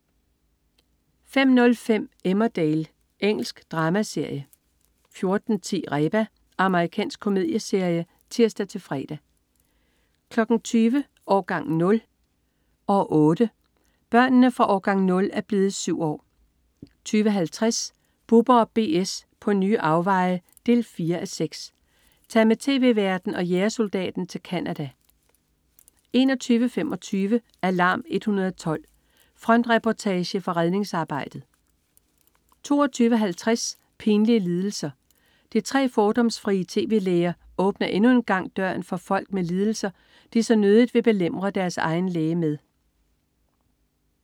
05.05 Emmerdale. Engelsk dramaserie 14.10 Reba. Amerikansk komedieserie (tirs-fre) 20.00 Årgang 0, år 8. Børnene fra "Årgang 0" er blevet syv år 20.50 Bubber & BS på nye afveje 4:6. Tag med tv-værten og jægersoldaten til Canada 21.25 Alarm 112. Frontreportage fra redningsarbejdet 22.50 Pinlige lidelser. De tre fordomsfrie tv-læger åbner endnu en gang døren for folk med lidelser, de så nødigt vil belemre deres egen læge med